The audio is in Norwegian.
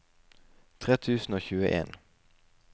tre tusen og tjueen